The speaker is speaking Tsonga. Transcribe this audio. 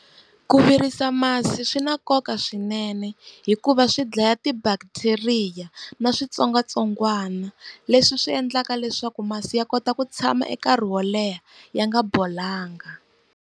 Ku virisa masi swi na nkoka swinene hikuva swi dlaya ti-bacteria na switsongwatsongwana, leswi swi endlaka leswaku masi ya kota ku tshama nkarhi wo leha ya nga bolanga.